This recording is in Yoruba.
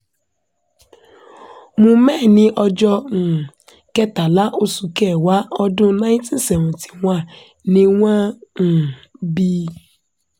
mu meh ní ọjọ́ um kẹtàlá oṣù kẹwàá ọdún ninety seventy one ni wọ́n um bí i